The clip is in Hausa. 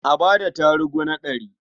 A ba da tarugu na ɗari.